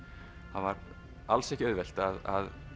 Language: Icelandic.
það var alls ekki auðvelt að